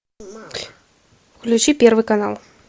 включи первый канал